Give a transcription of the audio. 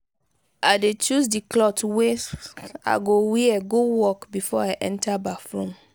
i dey choose di cloth wey i go wear go work before i enta bathroom.